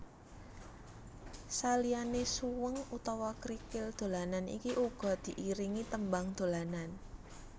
Saliyane suweng utawa krikil dolanan iki uga diiringi tembang dolanan